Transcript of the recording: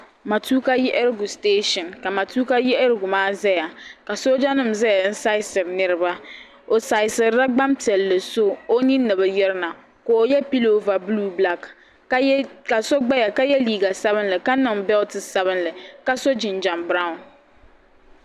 Matuka siteeshin ka matuka yiɣirigu maa zaya ka soojanima zaya n-saasiri niriba o saasirila gbampiɛlli so o ni nini ni bi yirina ka o ye pilova buluu bilaaki ka so gbaya ka ye liiga sabinli ka niŋ beliti sabinli ka so jinjam biranwu.